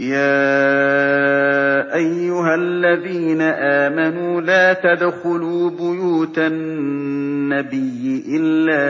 يَا أَيُّهَا الَّذِينَ آمَنُوا لَا تَدْخُلُوا بُيُوتَ النَّبِيِّ إِلَّا